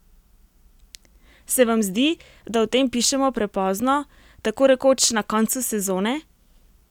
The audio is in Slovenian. Se vam zdi, da o tem pišemo prepozno, tako rekoč na koncu sezone?